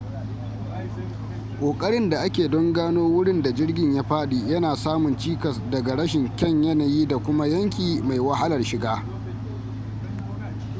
ƙoƙarin da ake don gano wurin da jirgin ya fadi yana samun cikas daga rashin kyan yanayi da kuma yanki mai wahalar shiga